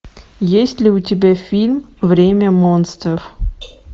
есть ли у тебя фильм время монстров